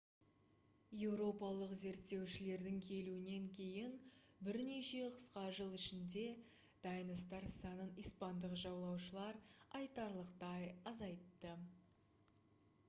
еуропалық зерттеушілердің келуінен кейін бірнеше қысқа жыл ішінде тайностар санын испандық жаулаушылар айтарлықтай азайтты